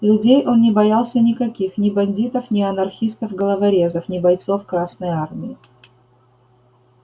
людей он не боялся никаких ни бандитов не анархистов-головорезов ни бойцов красной армии